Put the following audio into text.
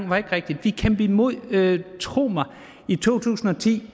var rigtigt vi kæmpede imod tro mig i to tusind og ti